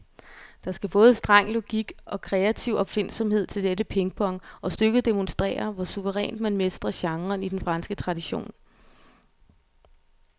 Der skal både streng logik og kreativ opfindsomhed til dette pingpong, og stykket demonstrerer, hvor suverænt man mestrer genren i den franske tradition.